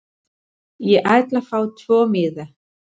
Ég ætla að fá tvo miða.